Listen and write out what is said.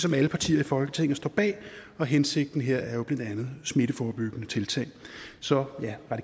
som alle partier i folketinget står bag og hensigten her er jo smitteforebyggende tiltag så ja